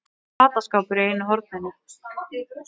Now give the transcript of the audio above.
Fataskápur í einu horninu.